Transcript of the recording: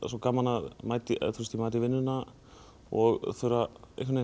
svo gaman að mæta í vinnuna og þurfa að